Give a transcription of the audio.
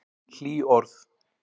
Hlý orð.